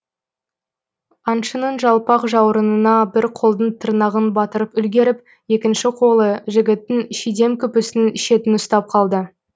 аңшының жалпақ жауырынына бір қолдың тырнағын батырып үлгеріп екінші қолы жігіттің шидем күпісінің шетін ұстап қалды